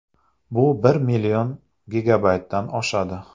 Bu bir million gigabaytdan oshadi.